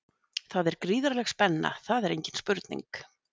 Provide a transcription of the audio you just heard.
Það er gríðarleg spenna, það er engin spurning.